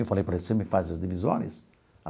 Eu falei para ele, você me faz as divisórias?